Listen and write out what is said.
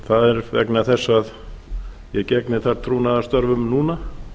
það er vegna þess að ég gegni þar trúnaðarstörfum núna